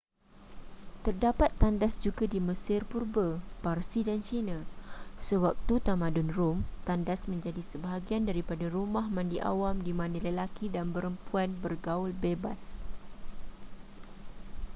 terdapat tandas juga di mesir purba parsi dan china sewaktu tamadun rom tandas menjadi sebahagian daripada rumah mandi awam di mana lelaki dan perempuan bergaul bebas